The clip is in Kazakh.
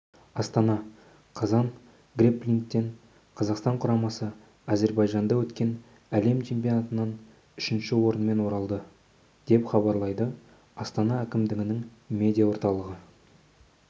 астана қазан грэпплингтен қазақстан құрамасы әзербайжанда өткен әлем чемпионатынан үшінші орынмен оралды деп хабарлайды астана әкімдігінің медиа орталығы